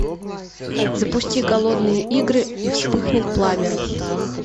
запусти голодные игры и вспыхнет пламя